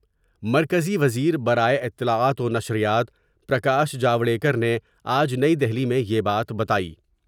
مرکزی وزیر برائے اطلاعات ونشریات پر کاش جواڈیکر نے آج نئی دہلی میں یہ بات بتائی ۔